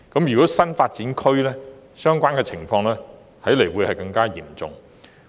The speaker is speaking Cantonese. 如有新發展區，區內設施不足的情況可能更為嚴重。